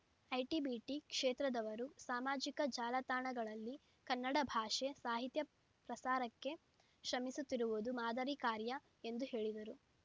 IT BT ಕ್ಷೇತ್ರದವರೂ ಸಾಮಾಜಿಕ ಜಾಲತಾಣಗಳಲ್ಲಿ ಕನ್ನಡ ಭಾಷೆ ಸಾಹಿತ್ಯ ಪ್ರಸಾರಕ್ಕೆ ಶ್ರಮಿಸುತ್ತಿರುವುದು ಮಾದರಿ ಕಾರ್ಯ ಎಂದು ಹೇಳಿದರು